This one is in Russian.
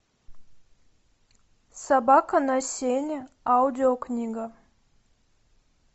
собака на сене аудиокнига